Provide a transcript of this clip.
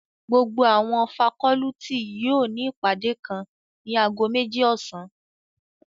Gbogbo awọn facọluti yóò ni ipade kan nib ago meji ọsan